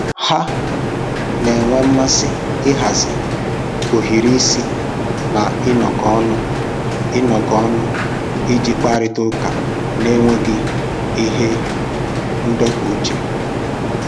Ha na-enwe mmasị ịhazi ohiri isi na ịnọkọ ọnụ ịnọkọ ọnụ iji kparịta ụka n'enweghị ihe ndọpụ uche